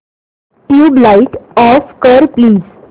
tubelight off कर please